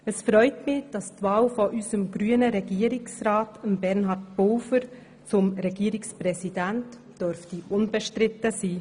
Es freut mich, dass die Wahl unseres grünen Regierungsrats Bernhard Pulver zum Regierungspräsidenten unbestritten sein dürfte.